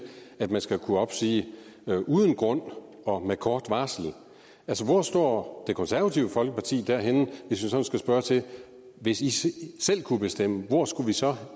at man skal kunne opsige uden grund og med kort varsel hvor står det konservative folkeparti henne hvis i selv kunne bestemme hvor skulle vi så